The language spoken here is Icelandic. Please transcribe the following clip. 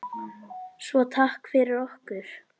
Svo takk fyrir okkur.